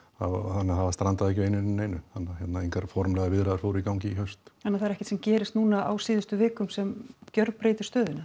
þannig að það strandaði ekki á einu né neinu þannig að engar formlegar viðræður fóru í gang í haust þannig að það er ekkert sem gerist núna á síðustu vikum sem gjörbreytir stöðunni